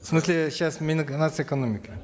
в смысле сейчас мин нац экономики